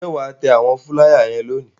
Ǹjẹ́ wà á tẹ àwọn fúláyà lónìí?